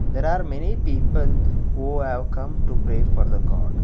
there are many people who have come to pray for the god.